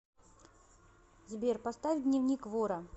сбер поставь дневник вора